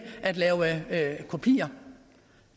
at lave kopier